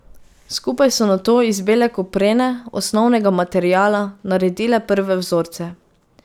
Skupaj so nato iz bele koprene, osnovnega materiala, naredile prve vzorce.